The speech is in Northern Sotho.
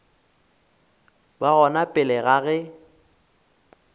ba gona pele ga ge